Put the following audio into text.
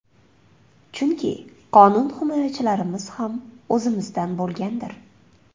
Chunki qonun himoyachilarimiz ham o‘zimizdan bo‘lganlardir.